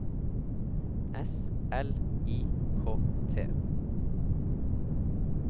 S L I K T